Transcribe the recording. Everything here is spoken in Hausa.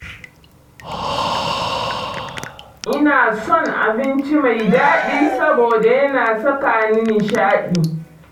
Ina son abinci mai daɗi saboda ya na sakani nishaɗi.